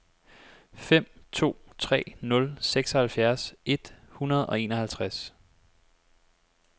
fem to tre nul seksoghalvfjerds et hundrede og enoghalvtreds